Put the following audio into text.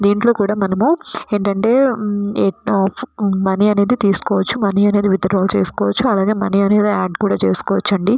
దేనీటిలో కూడా మనము అమితిఅంటే మనీ అయిడి మనీ అనేది తీసికోవచ్చు మయియు మనీ అన్యుడి ఆడ్ చేసుకోవచ్చు.